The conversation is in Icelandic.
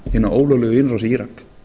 hina ólöglegu inn í írak